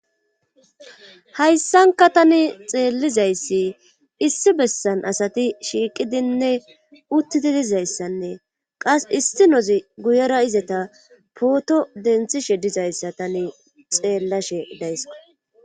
hayssanka tani xeellizayssi issi bessan asati shiiqidinne uttidi dizayssanne qas istinozi guyera izeta pooto denthishe dizayssa tani xeellashe daysska